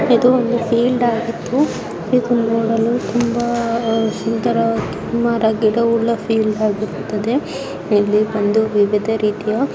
ಇದು ಒಂದು ಫೀಲ್ಡ್ ಆಗಿದ್ದು ಇದು ನೋದಲ್ಲೂ ತುಂಬ ಸುಂದರವಾಗಿದ್ದು ಸುಮಾರಾಗಿರುವ ಫೀಲ್ಡ್ ಆಗಿರುತ್ತದೆ ಇಲ್ಲಿ ಬಂದು ವಿವಿಧ ರೀತಿಯ--